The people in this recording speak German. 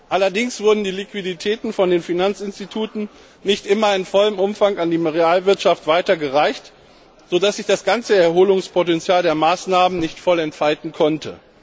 Allerdings wurden die Liquiditäten von den Finanzinstituten nicht immer in vollem Umfang an die Realwirtschaft weitergereicht, so dass sich das ganze Erholungspotenzial der Maßnahmen nicht voll entfalten konnte.